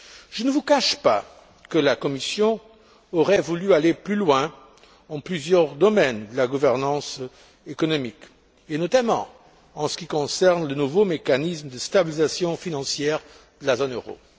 Je ne vous cache pas que la Commission aurait voulu aller plus loin dans plusieurs domaines de la gouvernance économique, et notamment en ce qui concerne le nouveau mécanisme de stabilisation financière de la zone euro.